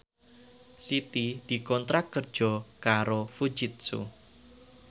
Siti dikontrak kerja karo Fujitsu